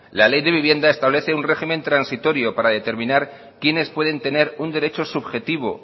la ley de vivienda establece un régimen transitorio para determinar quienes pueden tener un derecho subjetivo